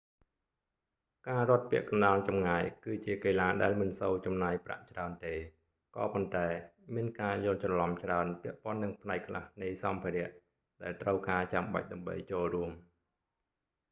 ការរត់ពាក់កណ្ដាលចម្ងាយ គឺជាកីឡាដែលមិនសូវចំណាយប្រាក់ច្រើនទេ ក៏ប៉ុន្តែ មានការយល់ច្រឡំច្រើនពាក់ព័ន្ធនឹងផ្នែកខ្លះនៃសម្ភារៈដែលត្រូវការចាំបាច់ដើម្បីចូលរួម